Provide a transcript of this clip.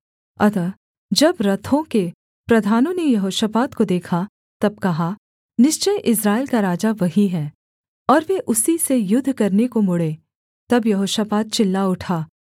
अतः जब रथों के प्रधानों ने यहोशापात को देखा तब कहा निश्चय इस्राएल का राजा वही है और वे उसी से युद्ध करने को मुड़ें तब यहोशापात चिल्ला उठा